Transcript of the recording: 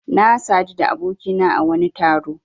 Na sadu da abokina a wani taro.